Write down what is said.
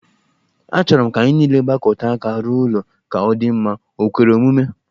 Achọrọ m ka anyị nile gbakọta aka rụọ ụlọ ka ọ dị mma, o kwere omume?